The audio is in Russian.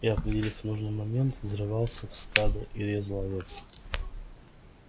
и определив нужный момент взрывался в стадо и резал овец